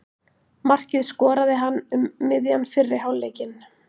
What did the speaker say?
Markið skoraði hann um miðjan fyrri hálfleikinn.